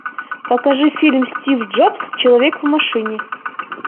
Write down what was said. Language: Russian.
покажи фильм стив джобс человек в машине